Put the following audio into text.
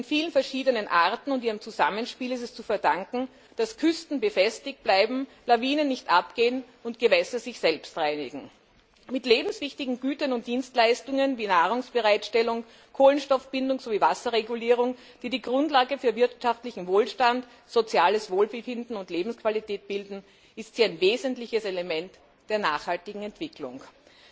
Den vielen verschiedenen Arten und ihrem Zusammenspiel ist es zu verdanken, dass Küsten befestigt bleiben, Lawinen nicht abgehen und Gewässer sich selbst reinigen. Mit lebenswichtigen Gütern und Dienstleistungen wie Nahrungsbereitstellung, Kohlenstoffbindung sowie Wasserregulierung, die die Grundlage für wirtschaftlichen Wohlstand, soziales Wohlbefinden und Lebensqualität bilden, sei hier ein wesentliches Element der nachhaltigen Entwicklung genannt.